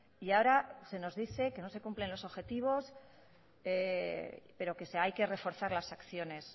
y ahora se nos dice que no se cumplen los objetivos pero que hay que reforzar las acciones